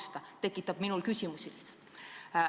See tekitab mul lihtsalt küsimusi.